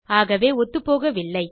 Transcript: ஆகவே ஒத்துப்போகவில்லை